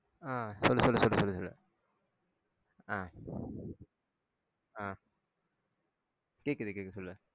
ஆஹ் சொல்லு சொல்லு சொல்லு சொல்லு ஆஹ் ஆஹ் கேக்குது கேக்குது சொல்லு